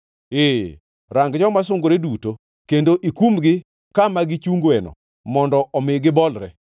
Ee, rang joma sungore duto kendo, ikumgi kama gichungoeno mondo omi gibolre.